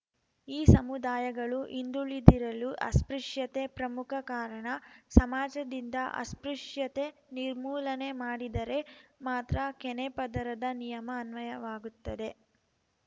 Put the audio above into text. ಈ ಸಮುದಾಯಗಳು ಹಿಂದುಳಿದಿರಲು ಅಸ್ಪೃಶ್ಯತೆ ಪ್ರಮುಖ ಕಾರಣ ಸಮಾಜದಿಂದ ಅಸ್ಪೃಶ್ಯತೆ ನಿರ್ಮೂಲನೆ ಮಾಡಿದರೆ ಮಾತ್ರ ಕೆನೆಪದರದ ನಿಯಮ ಅನ್ವಯವಾಗುತ್ತದೆ